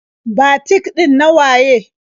Batik ɗin na waye?